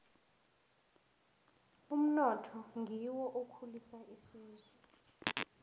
umnotho ngiwo okhulisa isizwe